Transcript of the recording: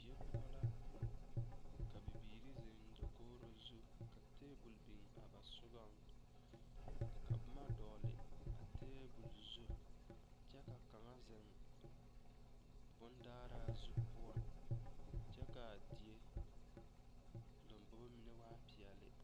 Die poɔ la ka biiri zeŋ dakogri zu ka tebol biŋ a ba sɔgaŋ ka boma dɔgle a tebol zu kyɛ ka kaŋa zeŋ bondaare zu poɔ kyɛ ka a die lombogo mine waa peɛle.